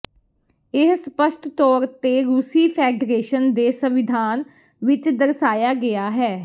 ਇਹ ਸਪਸ਼ਟ ਤੌਰ ਤੇ ਰੂਸੀ ਫੈਡਰੇਸ਼ਨ ਦੇ ਸੰਵਿਧਾਨ ਵਿੱਚ ਦਰਸਾਇਆ ਗਿਆ ਹੈ